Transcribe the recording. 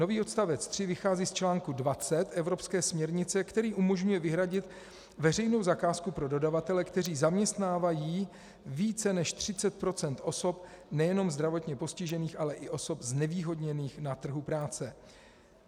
Nový odstavec 3 vychází z článku 20 evropské směrnice, který umožňuje vyhradit veřejnou zakázku pro dodavatele, kteří zaměstnávají více než 30 % osob nejenom zdravotně postižených, ale i osob znevýhodněných na trhu práce.